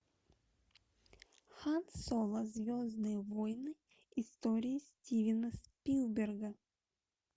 хан соло звездные войны история стивена спилберга